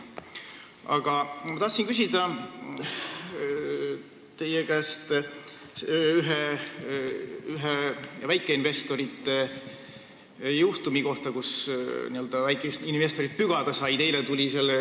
Aga ma tahtsin küsida teie käest ühe väikeinvestorite juhtumi kohta, kus nad n-ö pügada said.